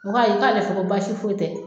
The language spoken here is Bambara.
O ko k'ale fɛ ko baasi foyi tɛ